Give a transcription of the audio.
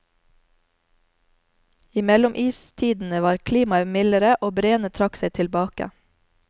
I mellomistidene var klimaet mildere og breene trakk seg tilbake.